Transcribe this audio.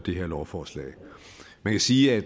her lovforslag man kan sige at